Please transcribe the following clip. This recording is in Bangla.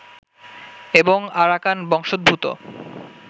এবং আরাকান বংশোদ্ভূত